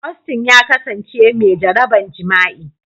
Austin ya kasance mai jaraban jima'i.